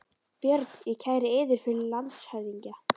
BJÖRN: Ég kæri yður fyrir landshöfðingja.